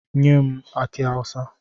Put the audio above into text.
Nye m aki awusa!